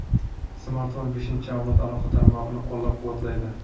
Smartfon beshinchi avlod aloqa tarmog‘ini qo‘llab-quvvatlaydi.